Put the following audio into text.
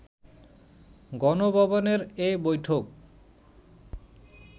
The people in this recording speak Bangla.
গণভবনের এ বৈঠক